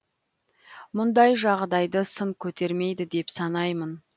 мұндай жағдайды сын көтермейді деп санаймын